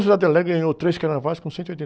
ganhou três carnavais com cento e oitenta